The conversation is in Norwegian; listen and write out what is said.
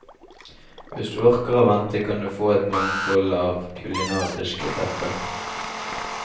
Hvis du orker å vente, kan du kan få et mangfold av kulinariske retter.